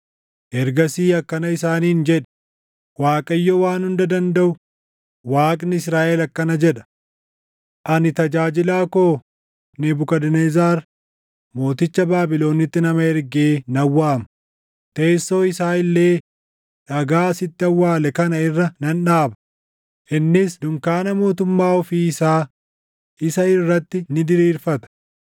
Ergasii akkana isaaniin jedhi; ‘ Waaqayyo Waan Hunda Dandaʼu, Waaqni Israaʼel akkana jedha: Ani tajaajilaa koo Nebukadnezar mooticha Baabilonitti nama ergee nan waama; teessoo isaa illee dhagaa asitti awwaale kana irra nan dhaaba; innis dunkaana mootummaa ofii isaa isa irratti ni diriirfata.